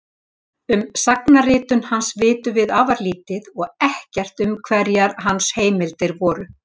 En um sagnaritun hans vitum afar lítið og ekkert um hverjar hans heimildir voru.